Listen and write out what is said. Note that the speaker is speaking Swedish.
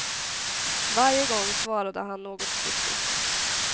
Varje gång svarade han något kryptiskt.